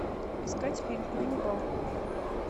искать фильм ганнибал